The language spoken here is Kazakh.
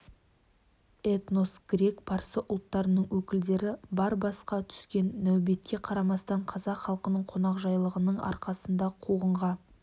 эстон грек парсы ұлттарының өкілдері бар басқа түскен нәубетке қарамастан қазақ халқының қонақжайлығының арқасында қуғынға